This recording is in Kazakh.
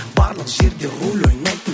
барлық жерде рөл ойнайтын